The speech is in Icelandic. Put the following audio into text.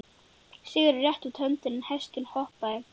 Sigurður rétti út hönd en hesturinn hopaði.